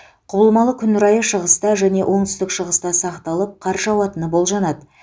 құбылмалы күн райы шығыста және оңтүстік шығыста сақталып қар жауатыны болжанады